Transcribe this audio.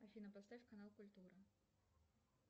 афина поставь канал культура